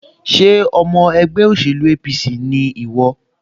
Ṣé ọmọ ẹgbẹ́ òṣèlú APC ni ìwọ?